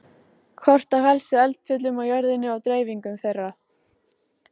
Kort af helstu eldfjöllum á jörðinni og dreifingu þeirra.